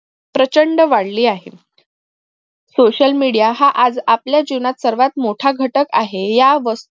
प्रचंड वाढली आहे social media हा आज आपल्या जीवनात सर्वात मोठा घटक आहे या